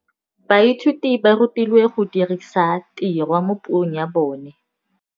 Baithuti ba rutilwe go dirisa tirwa mo puong ya bone.